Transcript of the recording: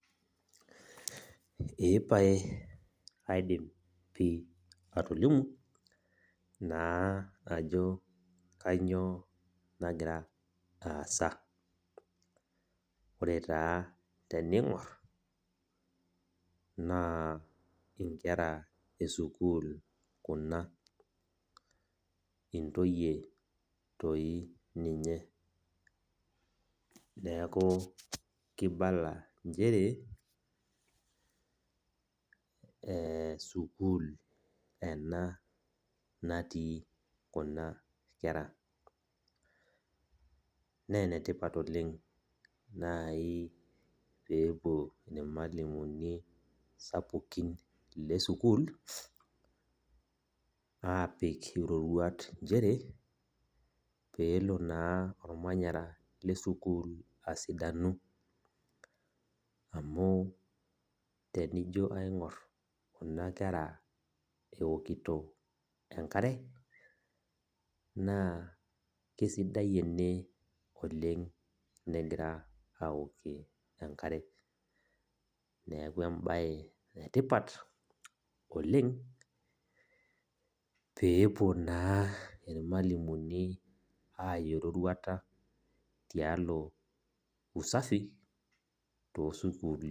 Ee pae kaidim pi atolimu, naa ajo kanyioo nagira aasa. Ore taa tening'or, naa inkera esukuul kuna. Intoyie toi ninye. Neeku kibala njere, sukuul ena natii kuna kera. Nenetipat oleng nai pepuo irmalimuni sapukin lesukuul, apik iroruat njere, peelo naa ormanyara lesukuul asidanu. Amu tenijo aing'or kuna kera eokito enkare, naa kesidai ene oleng negira aokie enkare. Neeku ebae etipat, oleng, peepuo naa irmalimuni aya eroruata tialo usafi, tosukuulini.